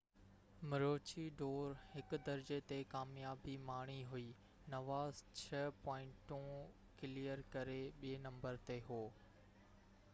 مروچي ڊور 1 درجي تي ڪاميابي ماڻي هئي نوزا 6 پوائنٽون ڪليئر ڪري ٻي نمبر تي هو